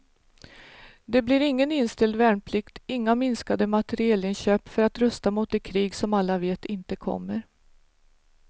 Det blir ingen inställd värnplikt, inga minskade materielinköp för att rusta mot det krig som alla vet inte kommer.